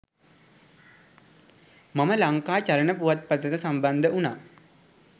මම ලංකා චලන පුවත්පතට සම්බන්ධ වුණා.